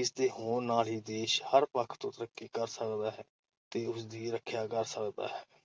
ਇਸ ਦੇ ਹੋਣ ਨਾਲ ਹੀ ਦੇਸ਼ ਹਰ ਪੱਖ ਤੋਂ ਤਰੱਕੀ ਕਰ ਸਕਦਾ ਹੈ ਤੇ ਉਸ ਦੀ ਰੱਖਿਆ ਕਰ ਸਕਦਾ ਹੈ।